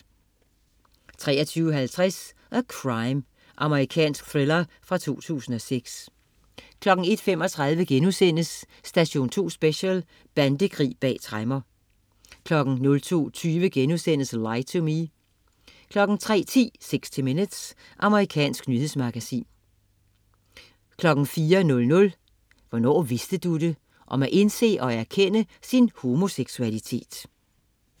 23.50 A Crime. Amerikansk thriller fra 2006 01.35 Station 2 Special: Bandekrig bag tremmer* 02.20 Lie to Me* 03.10 60 Minutes. Amerikansk nyhedsmagasin 04.00 Hvornår vidste du det? Om at indse og erkende sin homoseksualitet